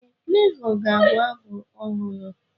Ee, Fulevoo ga-abụ abụ ọhụrụ.